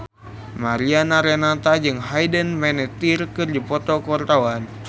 Mariana Renata jeung Hayden Panettiere keur dipoto ku wartawan